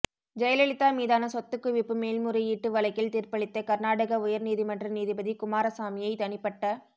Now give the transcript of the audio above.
ஜெயலலிதா மீதான சொத்துக்குவிப்பு மேல்முறையீட்டு வழக்கில் தீர்ப்பளித்த கர்நாடக உயர் நீதிமன்ற நீதிபதி குமாரசாமியை தனிப்பட்ட